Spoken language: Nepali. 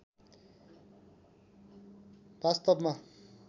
वास्‍तवमा